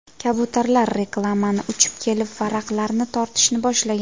Kabutarlar reklamaga uchib kelib, varaqlarni tortishni boshlagan.